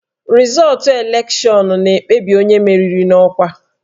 Rịzọọtụ elekshọnụ na-ekpebi onye meriri n'ọkwa